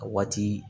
A waati